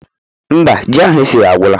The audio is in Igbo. Mba, ji ahụ esiri agwụla.